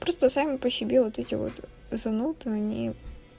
просто сами по себе вот эти вот зануды они